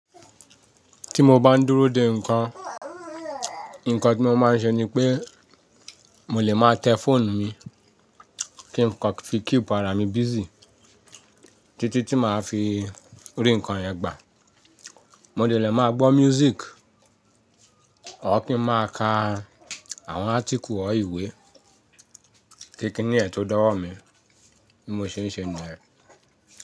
Ti mo bá ń dúró de ǹkan, ǹkan tí mo máa ń ṣe ni pé mo lè máa tẹ fóònù mi kí nǹkan fi keep ara mi busy títí tí màá fi rí ǹkan yẹn gbà. Mo dè lè máa gbọ́ music, or kin máa ka àwọn árticle or iwe kí kíni yẹ̀n tó dọ̀wọ́ mi bí mo ṣe ń ṣe niyẹ.